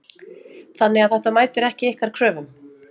Þannig að þetta mætir ekki ykkar kröfum?